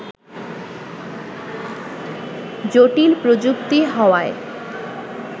জটিল প্রযুক্তি হওয়ায়